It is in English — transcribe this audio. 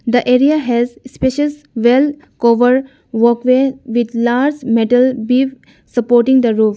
The area has spacious well cover walkway with large metal beam supporting the roof.